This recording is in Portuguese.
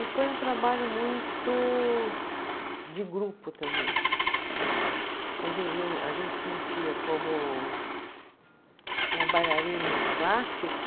E foi um trabalho muito de grupo também, que a eu, a gente sentia como como bailarino clássico